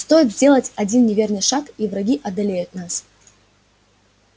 стоит сделать один неверный шаг и враги одолеют нас